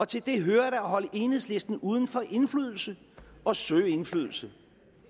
til det hører da at holde enhedslisten uden for indflydelse og søge indflydelse